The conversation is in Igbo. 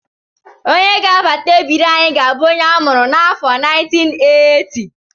Onye ga-abata ebiri anyị ga-abụ onye a mụrụ n'afọ 1980